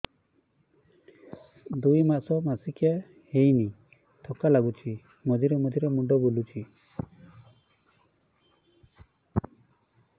ଦୁଇ ମାସ ମାସିକିଆ ହେଇନି ଥକା ଲାଗୁଚି ମଝିରେ ମଝିରେ ମୁଣ୍ଡ ବୁଲୁଛି